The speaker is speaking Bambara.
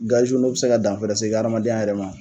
Gaziw n' o bi se ka dan fɛnɛ se e ka adamadenya yɛrɛ ma